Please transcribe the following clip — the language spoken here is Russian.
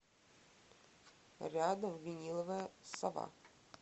рядом виниловая сова